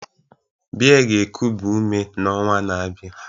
Beer ga-ekubi ume n'ọnwa na-abịa